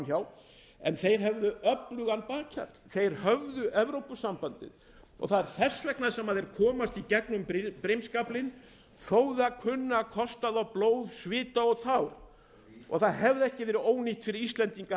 hjá en þeir höfðu öflugan bakhjarl þeir höfðu evrópusambandið þess vegna komast þeir í gegnum brimskaflinn þótt það kosti þá blóð svita og tár og vín það hefði ekki verið ónýtt fyrir okkur íslendinga að